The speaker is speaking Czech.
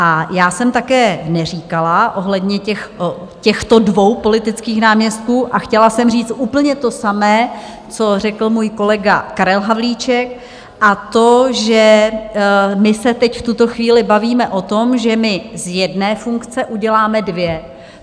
A já jsem také neříkala ohledně těchto dvou politických náměstků, a chtěla jsem říct úplně to samé, co řekl můj kolega Karel Havlíček, a to, že my se teď v tuto chvíli bavíme o tom, že my z jedné funkce uděláme dvě.